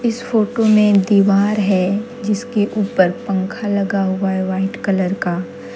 इस फोटो में दीवार है जिसके ऊपर पंखा लगा हुआ है वाइट कलर का।